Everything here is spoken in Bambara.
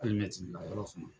ma yɔrɔ fɛnɛ.